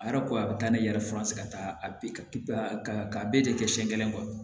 A yɛrɛ ko a bɛ taa ne yɛrɛ fura se ka taa ka bɛɛ de kɛ siɲɛ kelen kɔ